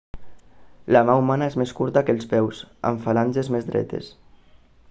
la mà humana és més curta que els peus amb falanges més dretes